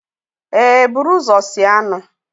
ee, buru ụzọ sie anụ